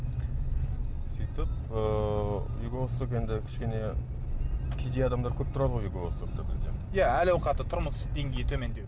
сөйтіп ыыы юго восток енді кішкене кедей адамдар көп тұрады ғой юго востокта бізде иә әл ауқаты тұрмыс деңгейі төмендеу